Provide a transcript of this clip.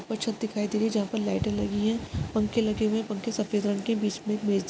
कुछ छत दिखाई दे रही है जहा पर लाइटे लागि हुई है पंखे लगे हुए है पंखे सफ़ेद रंग के है बीच में एक --